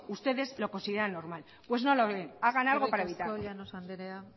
ustedes lo consideran normal pues no lo es hagan algo para evitarlo eskerrik asko llanos andrea